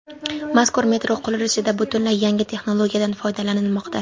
Mazkur metro qurilishida butunlay yangi texnologiyadan foydalanilmoqda.